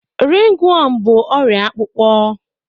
Ringworm bụ ọrịa akpụkpọ